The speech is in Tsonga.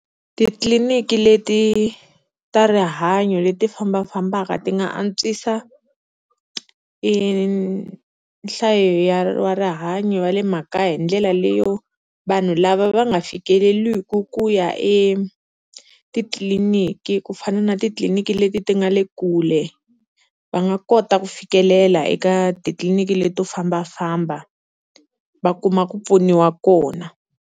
Titliliniki leti ta rihanyo leti fambafambaka ti nga antswisa, i nhlayo ya wa rihanyo va le makaya hi ndlela leyo vanhu lava va nga fikeleliki ku ya etitliliniki, ku fana na titliliniki leti ti nga le kule va nga kota ku fikelela eka titliliniki leto fambafamba va kuma ku pfuniwa kona.